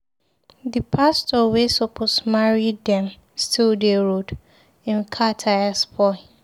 The pastor wey suppose marry dem still dey road. Im car tire spoil